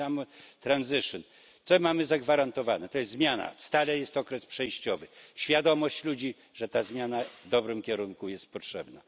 I samo transition co mamy zagwarantowane, to jest zmiana stare jest okres przejściowy, świadomość ludzi, że ta zmiana w dobrym kierunku jest potrzebna.